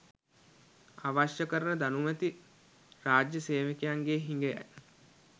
අවශ්‍ය කරන දැනුමැති රාජ්‍ය සේවකයන්ගේ හිගයයි.